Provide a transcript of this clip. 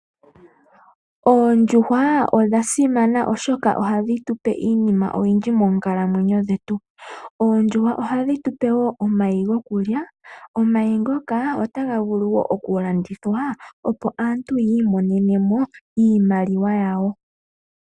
Oondjuhwa odha simana oshoka ohadhi tu pe iinima oyindji moonkalamwenyo dhetu. Oondjuhwa ohadhi tu pe woo omayi goku lya, omayi ngoka otaga vulu oku landithwa opo aantu yiimonene mo iimaliwa yawo.